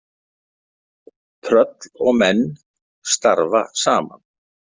Tröll og menn starfa saman.